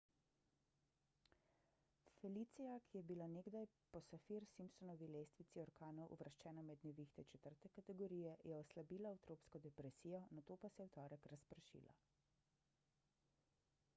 felicia ki je bila nekdaj po saffir-simpsonovi lestvici orkanov uvrščena med nevihte 4 kategorije je oslabila v tropsko depresijo nato pa se je v torek razpršila